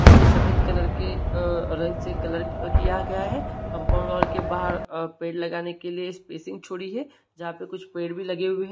और उसे सफेद कलर के रंग से कलर किया गया है कम्पाउन्ड वॉल के बाहर अ पेड़ लगाने के लिए स्पेसिंग छोड़ी है जहा पे कुछ पेड़ भी लगे हुए है।